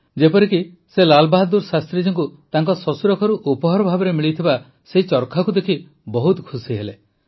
ଯେପରିକି ସେ ଲାଲ ବାହାଦୂର ଶାସ୍ତ୍ରୀଜୀଙ୍କ ସେହି ଚରଖା ଦେଖି ବହୁତ ଖୁସିହେଲେ ଯାହା ତାଙ୍କୁ ଶ୍ୱଶୁର ଘରୁ ଉପହାର ଭାବେ ମିଳିଥିଲା